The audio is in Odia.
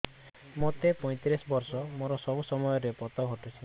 ମୋତେ ପଇଂତିରିଶ ବର୍ଷ ମୋର ସବୁ ସମୟରେ ପତ ଘଟୁଛି